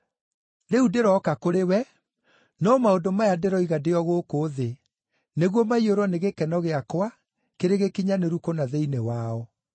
“Rĩu ndĩroka kũrĩ wee, no maũndũ maya ndĩroiga ndĩ o gũkũ thĩ, nĩguo maiyũrwo nĩ gĩkeno gĩakwa kĩrĩ gĩkinyanĩru kũna thĩinĩ wao.